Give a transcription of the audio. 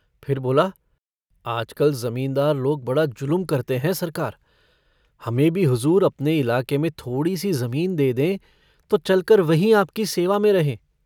फिर बोला - आजकल ज़मींदार लोग बड़ा जुलुम करते हैं सरकार। हमें भी हजूर अपने इलाके में थोड़ी सी ज़मीन दे दें तो चलकर वहीं आपकी सेवा में रहें।